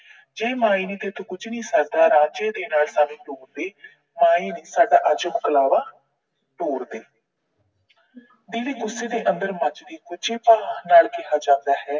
ਜੇ ਮਾਏ ਤੈਥੋਂ ਕੁਝ ਨੀ ਸਰਦਾ, ਰਾਜੇ ਦੇ ਨਾਲ ਸਾਨੂੰ ਤੋਰ ਦੇ। ਮਾਏ ਨੀ ਮੇਰਾ ਅੱਜ ਮਕਲਾਬਾ ਤੋਰ ਦੇ। ਦਿਲੀ ਗੁੱਸੇ ਦੇ ਅੰਦਰ ਮੱਚਦੀ ਗੁੱਝੇ ਭਾਅ ਨਾਲ ਕਿਹਾ ਜਾਂਦਾ ਹੈ l